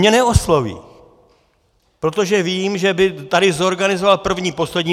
Mě neosloví, protože vím, že by tady zorganizoval první poslední.